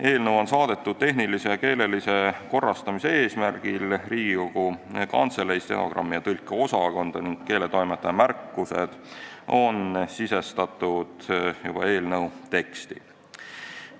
Eelnõu saadeti tehnilise ja keelelise korrastamise eesmärgil Riigikogu Kantselei stenogrammi- ja tõlkeosakonda ning keeletoimetaja märkused on sisestatud eelnõu teksti.